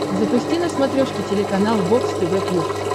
запусти на смотрешке телеканал бокс тв плюс